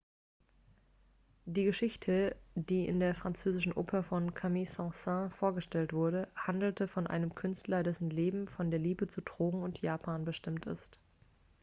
die geschichte die in der französischen oper von camille saint-saens vorgestellte wurde handelt von einem künstler dessen leben von der liebe zu drogen und japan bestimmt ist